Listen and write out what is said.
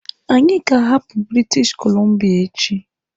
Anyị ga-ahapụ British Columbia echi!